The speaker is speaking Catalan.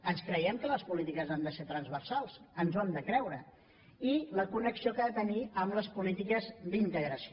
ens creiem que les polítiques han de ser transversals ens ho hem de creure i la connexió que ha de tenir amb les polítiques d’integració